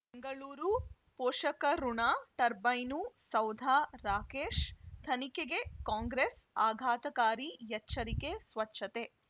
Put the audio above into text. ಬೆಂಗಳೂರು ಪೋಷಕಋಣ ಟರ್ಬೈನು ಸೌಧ ರಾಕೇಶ್ ತನಿಖೆಗೆ ಕಾಂಗ್ರೆಸ್ ಆಘಾತಕಾರಿ ಎಚ್ಚರಿಕೆ ಸ್ವಚ್ಛತೆ